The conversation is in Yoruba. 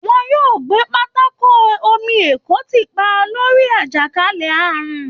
Wọ́n yóò gbé pápákọ omi èkó tì pa torí àjàkálẹ̀ àrùn